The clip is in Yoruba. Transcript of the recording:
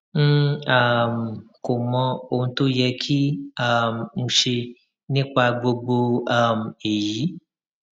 n um kò mọ ohun tó yẹ kí um n ṣe nípa gbogbo um èyí